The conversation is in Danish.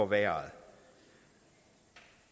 værre